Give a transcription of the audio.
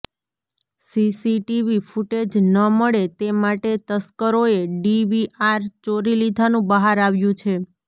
CCTV footage ન મળે તે માટે તસ્કરોએ ડીવીઆર ચોરી લીધાનું બહાર આવ્યું છે